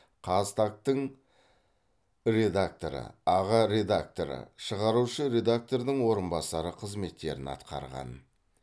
қазтаг тың редакторы аға редакторы шығарушы редактордың орынбасары қызметтерін атқарған